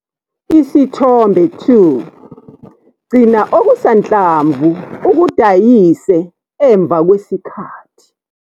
Isithombe 2- Gcina okusanhlamvu ukudayise emva kwesikhathi.